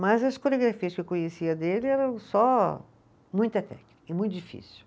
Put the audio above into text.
Mas as coreografias que eu conhecia dele eram só muita técnica e muito difícil.